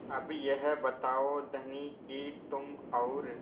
अब यह बताओ धनी कि तुम और